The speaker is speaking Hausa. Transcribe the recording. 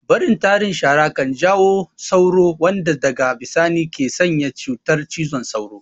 Barin tarin shara kan jawo sauro wanda daga bisani ke sanya cutar cizon sauro